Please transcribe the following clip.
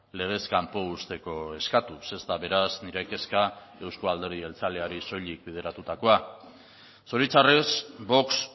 legez kanpo uzteko eskatuz ez da beraz nire kezka euzko alderdi jeltzaleari soilik bideratutakoa zoritxarrez vox